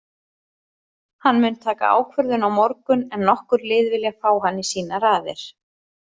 Hann mun taka ákvörðun á morgun en nokkur lið vilja fá hann í sínar raðir.